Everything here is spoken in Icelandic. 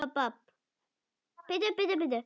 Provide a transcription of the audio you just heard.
Var ekki búið að slátra?